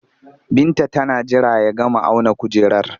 Binta tana jira ya gama auna kujerar